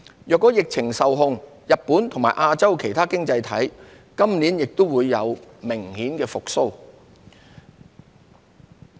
若疫情受控，日本及亞洲其他經濟體今年也會明顯復蘇。